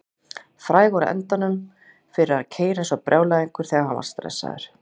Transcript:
Frægur að endemum fyrir að keyra eins og brjálæðingur þegar hann var stressaður.